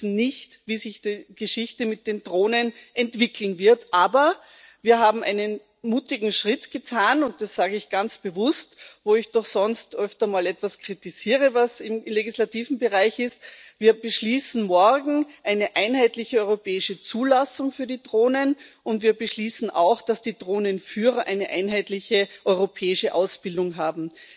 Wir wissen nicht, wie sich die Geschichte mit den Drohnen entwickeln wird, aber wir haben einen mutigen Schritt getan und das sage ich ganz bewusst, wo ich doch sonst öfter mal etwas kritisiere, was im legislativen Bereich ist Wir beschließen morgen eine einheitliche europäische Zulassung für die Drohnen, und wir beschließen auch, dass die Drohnenführer eine einheitliche europäische Ausbildung haben.